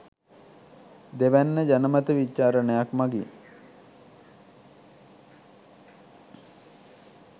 දෙවැන්න ජනමත විචාරණයක් මගින්